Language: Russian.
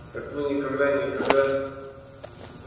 так вы никогда никогда